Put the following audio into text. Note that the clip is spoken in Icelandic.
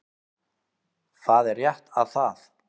Það er rétt að það